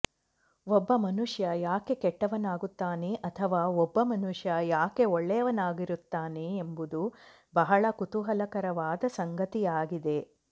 ಒಬ್ಬ ಮನುಷ್ಯ ಯಾಕೆ ಕೆಟ್ಟವನಾಗುತ್ತಾನೆ ಅಥವಾ ಒಬ್ಬ ಮನುಷ್ಯ ಯಾಕೆ ಒಳ್ಳೆಯವನಾಗಿರುತ್ತಾನೆ ಎಂಬುದು ಬಹಳ ಕುತೂಹಲಕರವಾದ ಸಂಗತಿಯಾಗಿದೆ